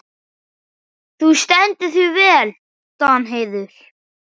Þú stendur þig vel, Danheiður!